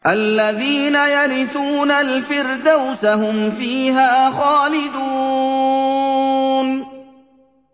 الَّذِينَ يَرِثُونَ الْفِرْدَوْسَ هُمْ فِيهَا خَالِدُونَ